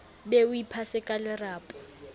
be o iphasa ka lerapo